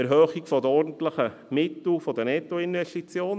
Erhöhung der ordentlichen Mittel der Nettoinvestitionen.